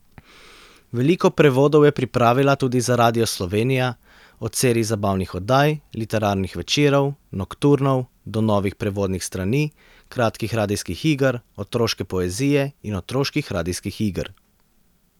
Veliko prevodov je pripravila tudi za Radio Slovenija, od serij zabavnih oddaj, literarnih večerov, nokturnov, do novih prevodnih strani, kratkih radijskih iger, otroške poezije in otroških radijskih iger.